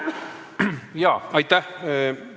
Jaa, aitäh!